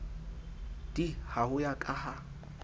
d ha ho ya ka